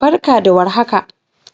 barka da warhaka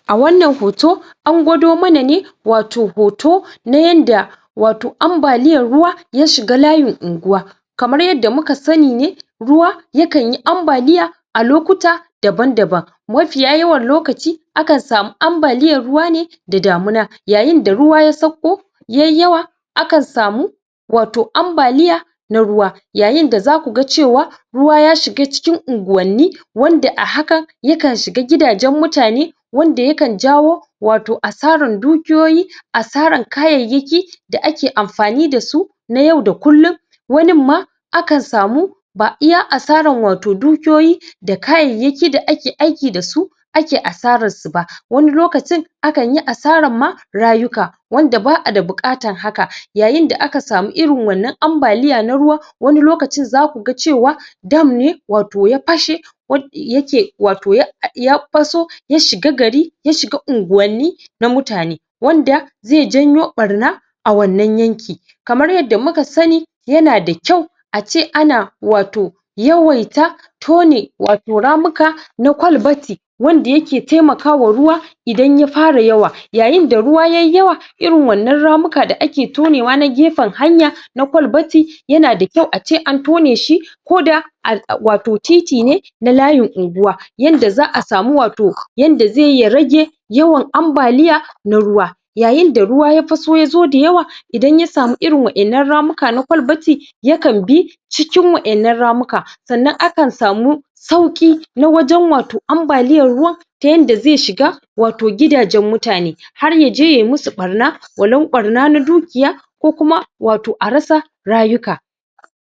a wannan hoto an gwado mana ne wato hoto na yanda wato ambaliyan ruwa ya shga layin unguwa kamar yadda muka sani ne ruwa yakan yi ambaliya a lokuta daban daban mafiya yawan lokaci akan samu ambaliyan ruwa ne da damina yayin da ruwa ya sauko yayi yawa akan samu wato ambaliya na ruwa yayin da zaku ga cewa ruwa ya shiga cikin unguwanni wanda a hakan ya kan shiga gidajen mutane wanda ya kan jawo wato asaran dukiyoyi asaran kayayyaki da ake amfani dasu ya yau da kullun wanin ma akan samu ba iya asaran wato dukiyoyi da kayayyaki da ake aiki dasu ake asararsu ba wani lokacin akanyi asaran ma rayuka wanda ba'a da buƙatan haka yayin da aka samu irin wannan ambaliya na ruwa wani lokacin zaku ga cewa dam ne wato ya pashe wadda yake wato ya paso ya shiga gari ya shiga unguwanni na mutane wanda zai janyo ɓarna a wannan yanki kamar yadda muka sani yana da kyau ace ana wato yawaita tone wato ramuka na kwalbati wanda yake taimakawa ruwa idan ya fara yawa yayin da ruwa yayi yawa irin wannan ramuka da ake tonewa na gefen hanya na kwalbati yana da kyau ace an tone shi koda a wato titi ne na layin anguwa yanda za'a samu wato yanda zai yi ya rage yawan ambaliya na ruwa yayin da ruwa ya paso ya zo dayawa idan ya samu irin wa'innan ramuka na kwalbati ya kan bi cikin wa'innan ramuka sannan akan samu sauƙi na wajen wato ambaliyan ruwa ta yanda zai shiga wato gidajen mutane har yaje yayi musu ɓarna walau ɓarna na dukiya ko kuma wato a rasa rayuka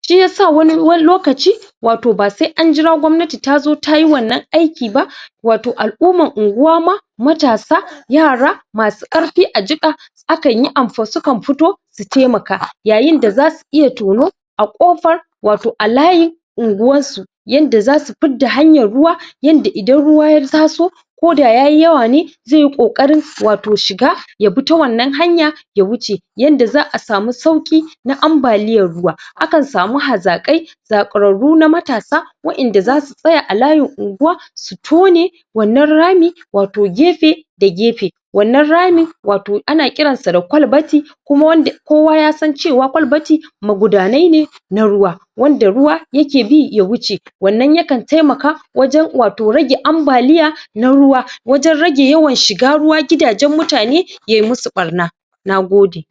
shiyasa wani lokaci wato ba sai an jira gwamnati tazo tayi wannan aiki ba wato al'uman unguwa ma matasa yara masu ƙarpi a jiƙa akan yi su kan fito su taimaka yayin da zasu iya tono a ƙofar wato a layin unguwassu yanda zasu pidda hanyan ruwa yanda idan ruwa ya taso koda yayi yawa ne zai yi ƙoƙarin wato shiga ya bi ta wannan hanya ya wuce yanda za'a samu sauƙi na ambaliyan ruwa akan samu hazaƙai zaƙararru na matasa wa'inda zasu tsaya a layin unguwa su tone wannan rami wato gefe da gefe wannan ramin wato ana ƙiransa da kwalbati kuma wanda kowa yasan cewa kwalbati magudanai ne na ruwa wanda ruwa yake bi ya wuce wannan yakan taimaka wajen wato rage ambaliya na ruwa wajen rage yawan shiga ruwa gidajen mutane yayi musu ɓarna nagode